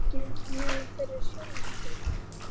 EKKI NEMA FYRIR SJÁLFAN ÞIG!